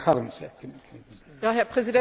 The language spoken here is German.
Herr Präsident, meine Damen und Herren!